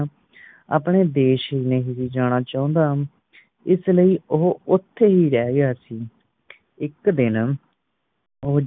ਆਪਣੇ ਦੇਸ਼ ਨਹੀਂ ਜਾਣਾ ਚਾਹੁੰਦਾ ਇਸ ਲਈ ਉਹ ਓਥੇ ਹੀ ਰਹਿ ਗਿਆ ਸੀ ਇਕ ਦਿਨ